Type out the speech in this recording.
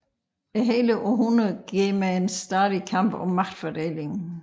Hele århundredet går med en stadig kamp om magtfordelingen